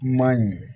Man ɲi